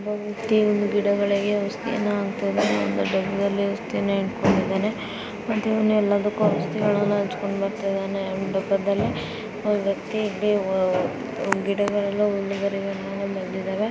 ಗಿಡಗಳಿಗೆ ಅವಸ್ಥಿಯನ್ನ ಹಾಕುತಾಯಿದರೆ ಒಂದು ಡ ಬ್ಬದಲ್ಲಿ ಅವಸ್ಥಿಯನ್ನ ಇಟ್ಟುಕೊಂಡಿದನೆ ಇವನೆ ಎಲ್ಲದಕ್ಕೂ ಅವಸ್ಥಿಯನ್ನ ಹಚ್ಚುಕೊಂಡು ಬರುತ ಇದನೆ ದಬ್ಬದಲ್ಲಿ ಗಿಡಗಳು ಬಂದಿದವೆ.